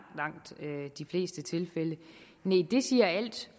de fleste tilfælde nej det siger al